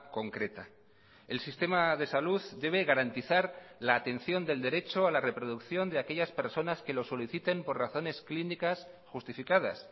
concreta el sistema de salud debe garantizar la atención del derecho a la reproducción de aquellas personas que lo soliciten por razones clínicas justificadas